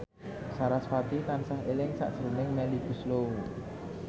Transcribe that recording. sarasvati tansah eling sakjroning Melly Goeslaw